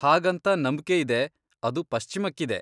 ಹಾಗಂತ ನಂಬ್ಕೆ ಇದೆ, ಅದು ಪಶ್ಚಿಮಕ್ಕಿದೆ.